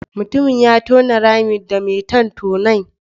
Mutumin ya tona rami da mai ton tonon.